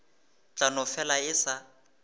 tla no fela e sa